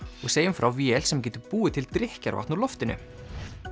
og segjum frá vél sem getur búið til drykkjarvatn úr loftinu